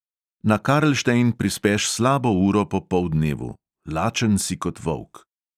Na karlštejn prispeš slabo uro po poldnevu, lačen si kot volk.